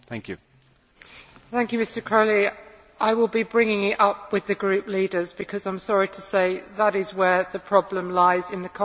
I will be bringing it up with the group leaders because, I am sorry to say, that is where the problem lies in the Conference of Presidents when they set the agenda.